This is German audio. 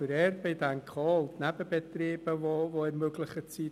Der grösste Vorteil sind aus unserer Sicht die Nebenbetriebe, die ermöglicht werden.